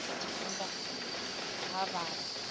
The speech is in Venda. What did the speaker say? afurika tshipembe ha vha na